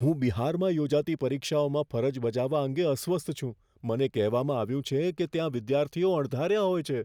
હું બિહારમાં યોજાતી પરીક્ષાઓમાં ફરજ બજાવવા અંગે અસ્વસ્થ છું. મને કહેવામાં આવ્યું છે કે ત્યાં વિદ્યાર્થીઓ અણધાર્યા હોય છે.